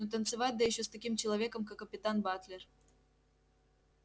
но танцевать да ещё с таким человеком как капитан батлер